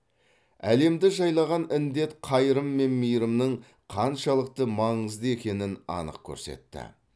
әлемді жайлаған індет қайырым мен мейірімнің қаншалықты маңызды екенін анық көрсетті